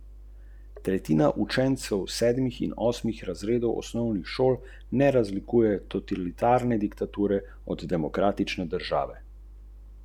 Ti so po odpečatenju plombe zvrtali luknjo v leseno dno tovornega prostora in z endoskopom potrdili, da se v votlem delu vozila nahaja večje število paketov.